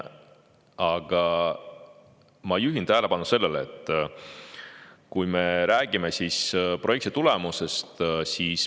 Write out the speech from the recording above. Aga ma juhin tähelepanu projekti tulemustele.